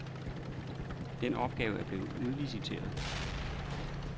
Den opgave er blevet udliciteret.